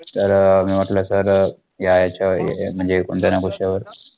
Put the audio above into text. तर अं मी वाटल्यास तर अं या याच्यावर म्हणजे कोणत्या ना विषयावर